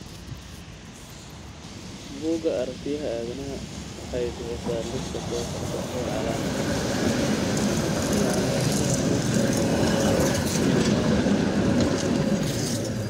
Bugga aragtiyaha aanadanaha. waxay bixisaa liiska soo socda ee calaamadaha iyo calaamadaha cudurka Kosztolanyi.